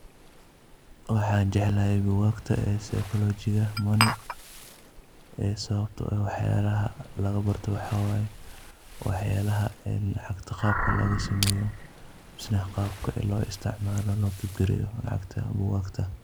Waxa jeeclahay book kagta ee syscholy jika ee sawabta waxyalaha laga baartoh waxawaye waxyalaha qaabka laga sameeyoh mise qaabka lo isticmaloh lacagta bookagta.